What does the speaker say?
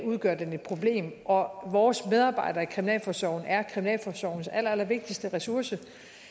udgør den et problem og vores medarbejdere i kriminalforsorgen er kriminalforsorgens allerallervigtigste ressource